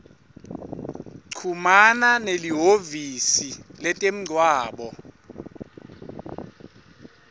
chumana nelihhovisi letemgwaco